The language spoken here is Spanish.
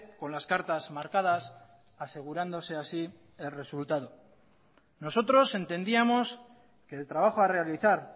con las cartas marcadas asegurándose así el resultado nosotros entendíamos que el trabajo a realizar